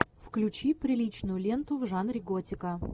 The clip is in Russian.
включи приличную ленту в жанре готика